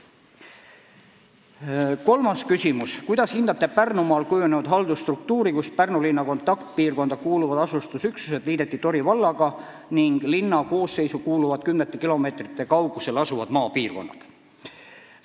Kolmas küsimus: "Kuidas hindate Pärnumaal kujunenud haldusstruktuuri, kus Pärnu linna kontaktpiirkonda kuuluvad asustusüksused liideti Tori vallaga ning linna koosseisu kuuluvad kümnete kilomeetrite kaugusel asuvad maapiirkonnad?